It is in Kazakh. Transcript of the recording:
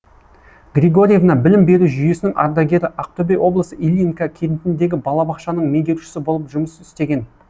григорьевна білім беру жүйесінің ардагері ақтөбе облысы ильинка кентіндегі балабақшаның меңгерушісі болып жұмыс істеген